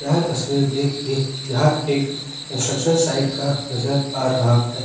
यह तस्वीर देख के यह एक कंस्ट्रक्शन साइड का नजर आ रहा है।